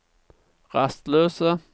rastløse